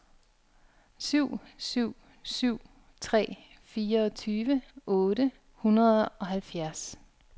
syv syv syv tre fireogtyve otte hundrede og halvfjerds